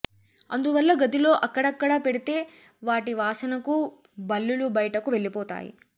అందువల్ల గదిలో అక్కడక్కడా పెడితే వాటి వాసనకు బల్లులు బయటకు వెళ్ళిపోతాయి